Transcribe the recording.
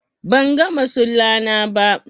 bangan masula na ba